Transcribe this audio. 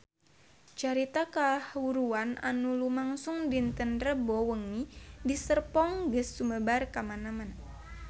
Carita kahuruan anu lumangsung dinten Rebo wengi di Serpong geus sumebar kamana-mana